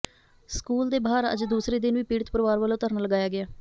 school ਦੇ ਬਾਹਰ ਅੱਜ ਦੂਸਰੇ ਦਿਨ ਵੀ ਪੀੜਤ ਪਰਿਵਾਰ ਵੱਲੋਂ ਧਰਨਾ ਲਗਾਇਆ ਗਿਆ